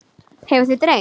Hefur þig dreymt?